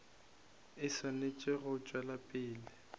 e swanetše go tšwetša pele